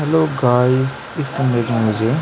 hello guys इस image में मुझे --